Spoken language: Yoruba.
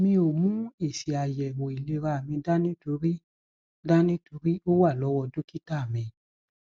mi ò mú èsìàyẹwòìlera mi dání torí dání torí ó wà lọwọ dọkítà mi